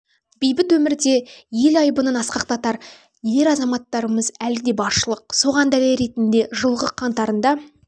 бейбіт өмірде де ел айбынын асқақтатар ер азаматтарымыз әлі де баршылық соған дәлел ретінде жылғы қаңтарында